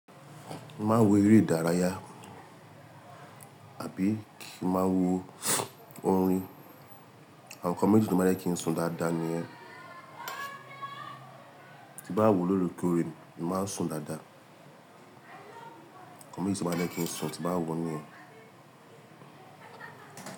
Mo máa wo eré ìdárayá àbí kí máa wo orin. Àwọn nǹkan méjì tí mo bá fẹ́ kí ń sùn dáadáa nìyẹn. Ti bá wò lóòrèkóòrè, èmi máa ń sùn dáadáa. Ǹkan méjì tí ó máa ń jẹ́ kí ń sùn ti n bá wò níyẹn.